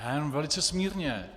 Já jenom velice smírně.